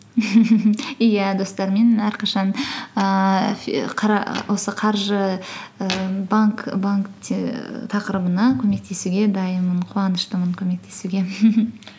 иә достар мен әрқашан ііі осы қаржы ііі банкте тақырыбына көмектесуге дайынмын қуаныштымын көмектесуге